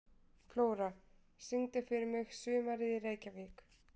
Flóra, syngdu fyrir mig „Sumarið í Reykjavík“.